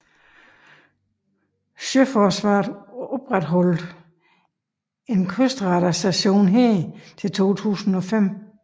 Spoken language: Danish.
Sjøforsvaret opretholdt en kystradarstation her til 2005